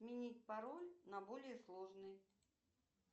сменить пароль на более сложный